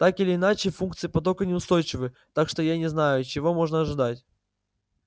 так или иначе функции потока неустойчивы так что я не знаю чего можно ожидать